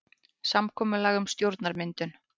Samkomulag um stjórnarmyndun